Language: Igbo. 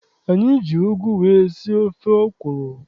Anyị ji ụgụ wee sie ofe ọkwụrụ.